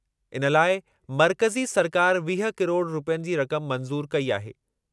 इन लाइ मर्कज़ी सरकारि वीह किरोड़ रुपयनि जी रक़म मंज़ूर कई आहे।